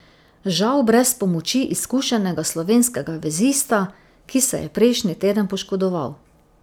Žal brez pomoči izkušenega slovenskega vezista, ki se je prejšnji teden poškodoval.